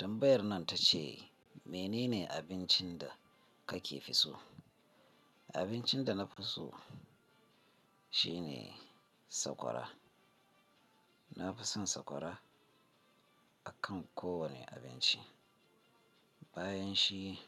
Tambayar nan ta ce, mene ne abincin da kake fi so? Abincin da na fi so shine sakwara. Na fi son sakwara akan kowane abinci. Bayan shi